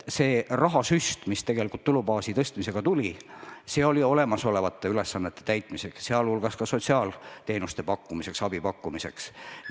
See rahasüst, mis tulubaasi tõstmisega tuli, oli mõeldud olemasolevate ülesannete täitmiseks, sh sotsiaalteenuste pakkumiseks, abi pakkumiseks.